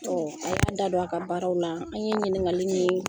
a y'a da don a ka baaraw la an ye ɲininkali ni